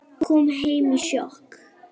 Kom heim í sjokki.